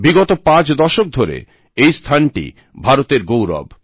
বিগত পাঁচ দশক ধরে এই স্থানটি ভারতের গৌরব